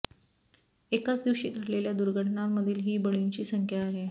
एकाच दिवशी घडलेल्या दुर्घटनांमधील ही बळींची संख्या आहे